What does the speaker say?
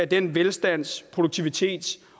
den velstands produktivitets